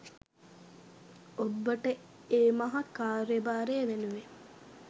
ඔබ්බට ඒ මහා කාර්යභාරය වෙනුවෙන්